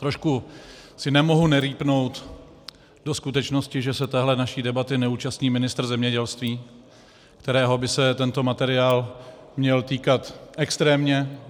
Trošku si nemohu nerýpnout do skutečnosti, že se téhle naší debaty neúčastní ministr zemědělství, kterého by se tenhle materiál měl týkat extrémně.